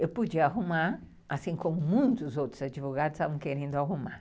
Eu podia arrumar, assim como muitos outros advogados estavam querendo arrumar.